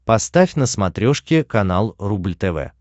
поставь на смотрешке канал рубль тв